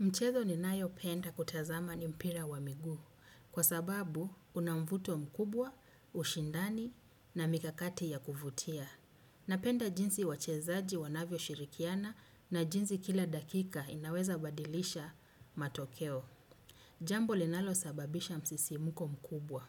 Mchezo ni nayo penda kutazama ni mpira wa miguu kwa sababu unamvuto mkubwa, ushindani na mikakati ya kuvutia. Napenda jinsi wachezaji wanavyoshirikiana na jinsi kila dakika inaweza badilisha matokeo jambo linalosababisha msisimuko mkubwa.